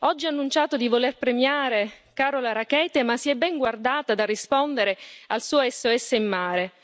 Oggi ha annunciato di voler premiare Carola Rackete, ma si è ben guardata dal rispondere al suo SOS in mare.